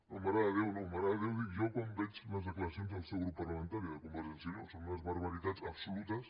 no mare de déu no mare de déu ho dic jo quan veig les declaracions del seu grup parlamentari de convergència i unió són unes barbaritats absolutes